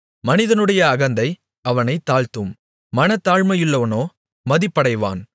மனிதனுடைய அகந்தை அவனைத் தாழ்த்தும் மனத்தாழ்மையுள்ளவனோ மதிப்படைவான்